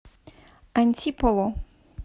антиполо